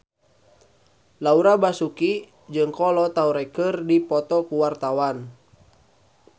Laura Basuki jeung Kolo Taure keur dipoto ku wartawan